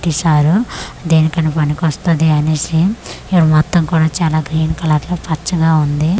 దేనికైనా పనికొస్తది అనేసి ఇడ మొత్తం కూడా చాలా గ్రీన్ కలర్ లో పచ్చగా ఉంది.